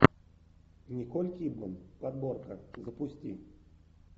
николь кидман подборка запусти